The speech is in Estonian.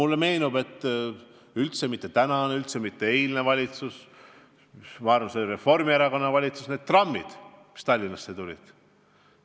Mulle meenub, et üldse mitte tänane, üldse mitte eilne valitsus, vaid ma arvan, et see oli Reformierakonna valitsus, kes laskis hankida Tallinnasse uued trammid.